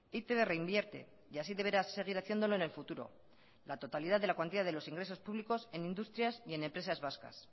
e i te be reinvierte y así deberá seguir haciéndolo en el futuro la totalidad de la cuantía de los ingresos públicos en industrias y en empresas vascas